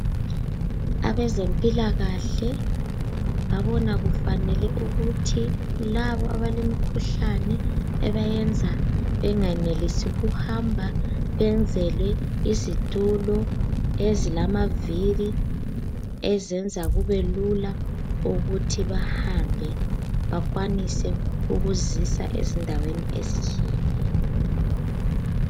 Abezempilakahle babona kufanele ukuthi labo abalemkhuhlane ebayenza bengenelisi ukuhamba benzelwe izitulo ezilamavili ezenza kubelula ukuthi bahambe bakwanise ukuzisa ezindaweni ezitshiyeneyo.